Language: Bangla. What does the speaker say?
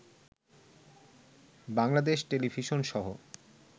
বাংলাদেশ টেলিভিশনসহ